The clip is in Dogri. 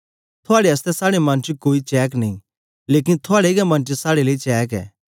थुआड़े आसतै साड़े मन च कोई चहक्क नेई लेकन थुआड़े गै मन च साड़े लेई चहक्क ऐ